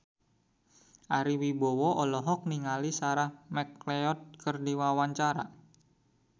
Ari Wibowo olohok ningali Sarah McLeod keur diwawancara